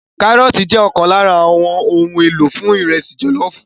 Kárọ́ọ̀tì jẹ́ ọ̀kan lára àwọn ohun èlò fún ìrẹsì jọ̀lọ́ọ̀fù